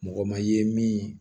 Mɔgɔ ma i ye min